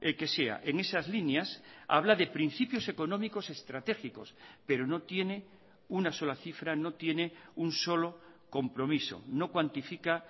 que sea en esas líneas habla de principios económicos estratégicos pero no tiene una sola cifra no tiene un solo compromiso no cuantifica